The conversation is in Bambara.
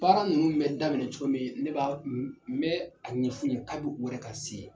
Baara nunnu bɛ daminɛ cogo min ne b'a , n bɛ a ɲɛfɔ u ye kabi u yɛrɛ ka se